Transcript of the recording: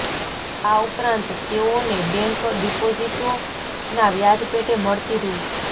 આ ઉપરાંત તેઓને બેંક ડિપોઝિટોના વ્યાજ પેટે મળતી રૂ